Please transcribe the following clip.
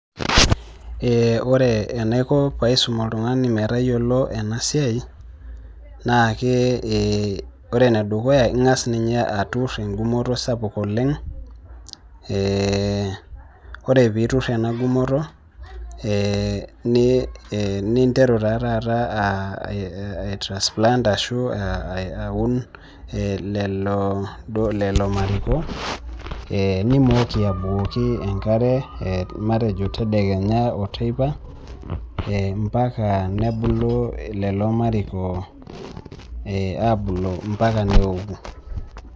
Ee ore enaiko paisum oltung'ani metayiolo ena siai naake ee kore ene dukuya naake ing'as ninye atur eng'umoto sapuk oleng', ee ore piitur ena gumoto ee ni ee ninteru taa taata aitransplant ashu aa aun ee lelo duo lelo mariko ee nimooki abukoki enkare ee matejo tedekenya o teipa ee mpaka nebulu lelo mariko ee abulu mpaka neoku.